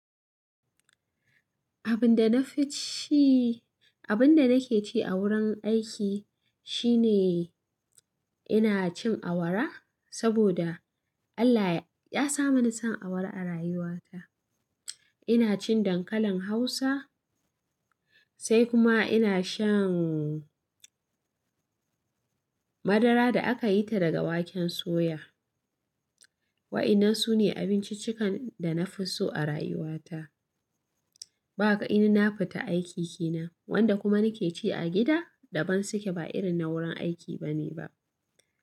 Abin da na fi ci, abin da nake ci a wurin aiki shine ina cin awara saboda Allah ya sa mani son awara a rayuwata. Ina cin dankalin Hausa sai kuma ina shan madara da aka yi ta daga waken soya. Wa ina sune abinciccikan da na fi so a rayuwata. Ba inna fita aiki kenan wanda kuma nake ci a gida daban suke ba irin na wurin aiki bane ba.